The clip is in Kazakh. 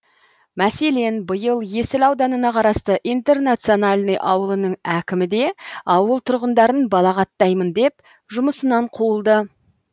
мәселен биыл есіл ауданына қарасты интернациональный ауылының әкімі де ауыл тұрғындарын балағаттаймын деп жұмысынан қуылды